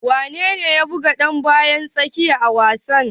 Wane ne ya buga dan bayan tsakiya a wasan?